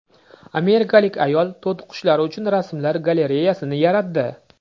Amerikalik ayol to‘tiqushlari uchun rasmlar galereyasini yaratdi.